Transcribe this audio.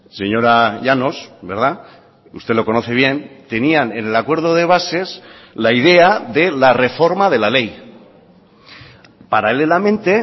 señora llanos usted lo conoce bien tenían en el acuerdo de bases la idea de la reforma de la ley paralelamente